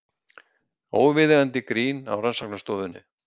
Óviðeigandi grín á rannsóknarstofunni